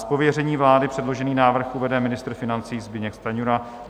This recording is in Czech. Z pověření vlády předložený návrh uvede ministr financí Zbyněk Stanjura.